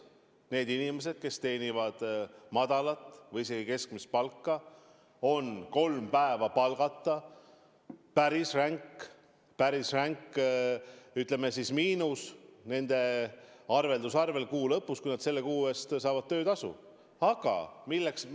Nendel inimestel, kes teenivad madalat või keskmist palka, on kolm päeva palgata päris ränk miinus, mis nende arveldusarvel kuu lõpus, kui nad selle kuu eest töötasu saavad, tunda annab.